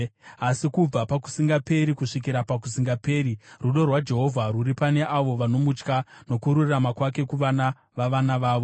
Asi kubva pakusingaperi kusvikira pakusingaperi, rudo rwaJehovha rwuri pane avo vanomutya, nokururama kwake kuvana vavana vavo,